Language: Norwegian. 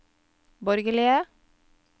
borgerlige